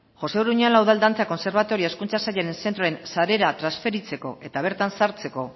josé uruñuela udal dantza kontserbatorioa hezkuntza sailaren zentroen sarera transferitzeko eta bertan sartzeko